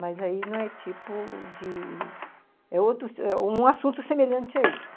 Mas aí não é tipo de... É outro, um assunto semelhante a esse.